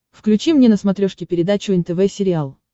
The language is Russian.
включи мне на смотрешке передачу нтв сериал